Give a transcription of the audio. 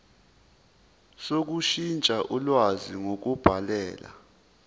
sokushintsha ulwazi ngokubhalela